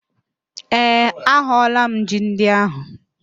Ee, ahụọla m ji ndị ahụ